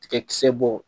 Tigakisɛ bɔ